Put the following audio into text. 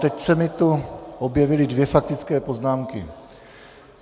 Teď se mi tu objevily dvě faktické poznámky.